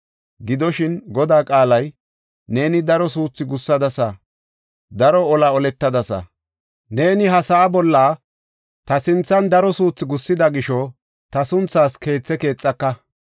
Gidoshin, Godaa qaalay, ‘Neeni daro suuthi gussadasa; daro ola oletadasa. Neeni ha sa7aa bolla ta sinthan daro suuthi gussida gisho ta sunthaas keethe keexaka.